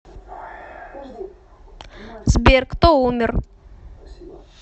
сбер кто умер